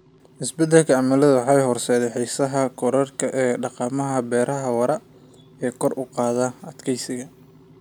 Isbeddelka cimiladu waxay horseedaysaa xiisaha korodhka ee dhaqamada beeraha waara ee kor u qaada adkeysiga.